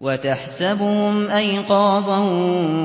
وَتَحْسَبُهُمْ أَيْقَاظًا